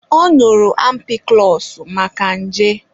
Ọ ñụrụ ampikụlọsụ maka nje.